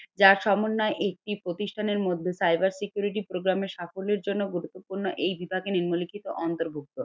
যার সমন্বয় একটি প্রতিষ্ঠানের মধ্যে cyber security program এর সাফল্যের জন্য গুরুত্বপূর্ণ এই বিভাগে নিম্নলিখিত অন্তর্ভুক্ত।